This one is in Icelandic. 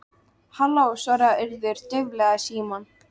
Halló- svaraði Urður dauflega í símann.